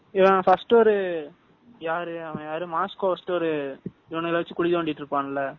First ஒரு அவன் யாரு மஸ்கொவ் இவனுங்கள வச்சு குழி தோண்டிட்டு இருப்பான்ல